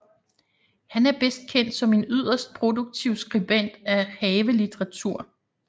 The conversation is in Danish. Han er bedst kendt som en yderst produktiv skribent af havelitteratur